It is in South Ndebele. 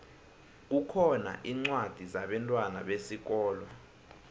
kukhona incwadi zabentwana besikolo